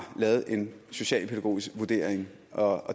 lavet en socialpædagogisk vurdering og